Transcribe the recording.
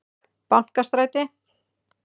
Bankastræti